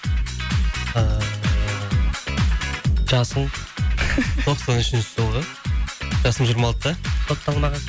ыыы жасым тоқсан үшінші жылғы жасым жиырма алтыда сотталмаған